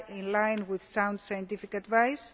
line with sound scientific advice